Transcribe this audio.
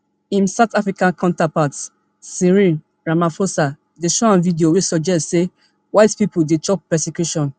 im south african counterpart cyril ramaphosa dey show am video wey suggest say white pipo dey chop persecution